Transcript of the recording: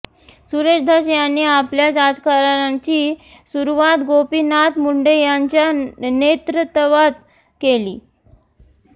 सुरेश धस यांनी आपल्या राजकारणाची सुरुवात गोपीनाथ मुंडे यांच्या नेतृत्वात केली